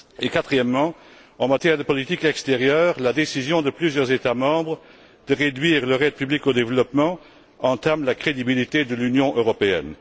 Quatrièmement, en matière de politique extérieure, la décision de plusieurs États membres de réduire leur aide publique au développement entame la crédibilité de l'Union européenne.